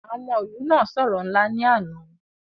àwọn ọmọ ilu na soro nla ni ana.